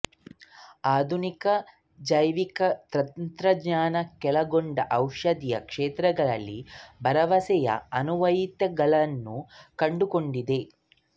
ಆಧುನಿಕ ಜೈವಿಕ ತಂತ್ರಜ್ಞಾನವು ಕೆಳಕಂಡ ಔಷಧೀಯ ಕ್ಷೇತ್ರಗಳಲ್ಲಿ ಭರವಸೆಯ ಅನ್ವಯಿಕಗಳನ್ನು ಕಂಡುಕೊಂಡಿದೆ